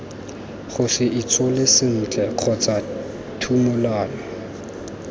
gose itshole sentle kgotsa thumolano